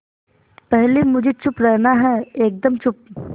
पहले मुझे चुप रहना है एकदम चुप